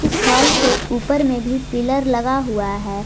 इस हाल के ऊपर में भी पिलर लगा हुआ है।